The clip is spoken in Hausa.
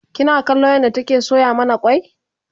kina kallon yadda take soya mana kwai?